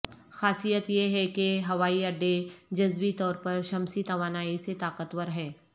خاصیت یہ ہے کہ ہوائی اڈے جزوی طور پر شمسی توانائی سے طاقتور ہے